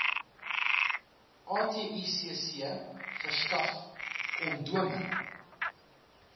aticc verskaf kondome